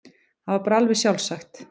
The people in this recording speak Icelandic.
Það var bara alveg sjálfsagt.